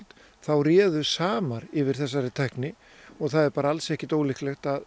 þá réðu samar yfir þessari tækni og það er alls ekkert ólíklegt að